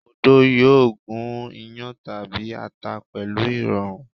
Odó yóò gún iyán tàbí ata pẹ̀lú ìrọ̀rùn.